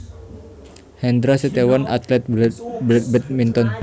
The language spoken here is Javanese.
Hendra Setiawan atlet badminton